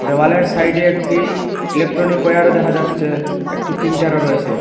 দেওয়ালের সাইডে একটি ইলেকট্রনিকওয়্যারও দেখা যাচ্ছে একটি প্রিন্টারও রয়েছে।